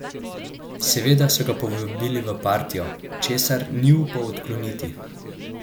Seveda so ga povabili v partijo, česar ni upal odkloniti.